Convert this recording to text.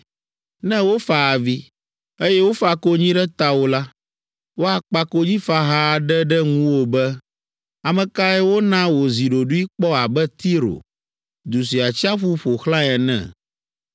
Ne wofa avi, eye wofa konyi ɖe tawò la, woakpa konyifaha aɖe ɖe ŋuwò be, Ame kae wona wòzi ɖoɖoe kpɔ abe Tiro, du si atsiaƒu ƒo xlãe ene?